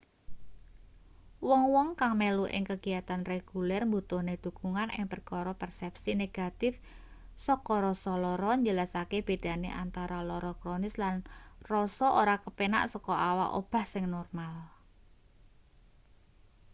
wong-wong kang melu ing kegiatan reguler mbutuhne dukungan ing perkara persepsi negatif saka rasa lara njelasake bedane antara lara kronis lan rasa ora kepenak saka awak obah sing normal